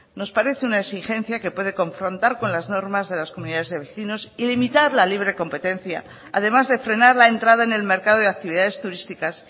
nos parece una exigencia que puede confrontar con las normas de las comunidades de vecinos y limitar la libre competencia además de frenar la entrada en el mercado de actividades turísticas